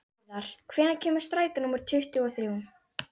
Viðar, hvenær kemur strætó númer tuttugu og þrjú?